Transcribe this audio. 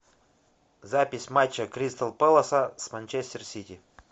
запись матча кристал пэласа с манчестер сити